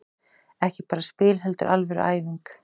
Ekki bara spil heldur alvöru æfing.